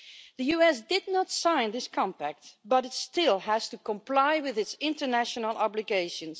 The USA did not sign this compact but it still has to comply with its international obligations.